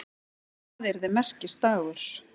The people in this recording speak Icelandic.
Það yrði merkisdagur.